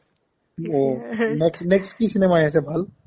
ohh next next কি cinema আহি আছে ভাল ?